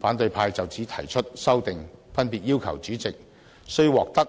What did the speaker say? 反對派就此提出的修訂，分別要求主席須獲得